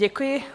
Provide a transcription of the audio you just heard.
Děkuji.